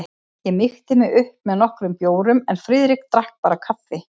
Ég mýkti mig upp með nokkrum bjórum en Friðrik drakk bara kaffi.